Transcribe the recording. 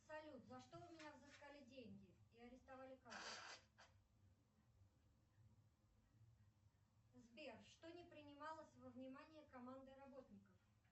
салют за что у меня взыскали деньги и арестовали карту сбер что не принималось во внимание командой работников